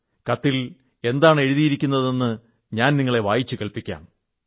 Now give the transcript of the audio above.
കത്തിൽ എന്താണ് എഴുതിയിരുന്നതെന്ന് ഞാൻ നിങ്ങളെ വായിച്ചു കേൾപ്പിക്കാം